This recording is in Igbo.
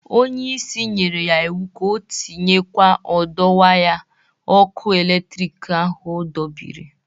Onye isi nyere ya iwu ka ọ tinyekwa ọdọ waya ọkụ eletrik ahụ ọ dọbịrị!